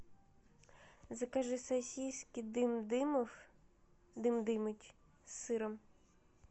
закажи сосиски дым дымов дым дымыч с сыром